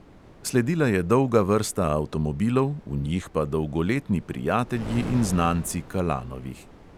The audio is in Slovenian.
Sledila je dolga vrsta avtomobilov, v njih pa dolgoletni prijatelji in znanci kalanovih.